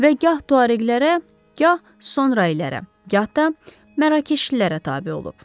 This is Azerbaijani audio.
Və gah tuareqlərə, gah sonra elərə, gah da mərəkeşlilərə tabe olub.